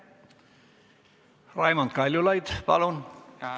Raimond Kaljulaid, palun!